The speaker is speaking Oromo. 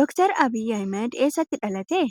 Dr. Abiyi Ahimeed eessatti dhalate?